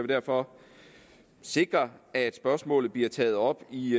derfor sikre at spørgsmålet bliver taget op i